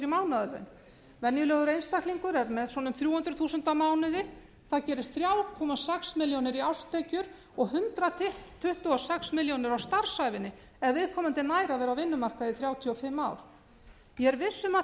mánaðarlaun venjulegur einstaklingur er með svona um þrjú hundruð þúsund á mánuði það gerir þrjú komma sex milljónir í árstekjur og hundrað tuttugu og sex milljónir á starfsævinni ef viðkomandi nær að vera á vinnumarkaði í þrjátíu og fimm ár ég er viss um að